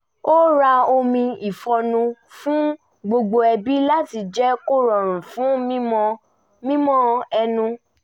a ra omi ìfọ́nú fún gbogbo ẹbí láti jẹ́ kó rọrùn fún mímọ́ ẹnu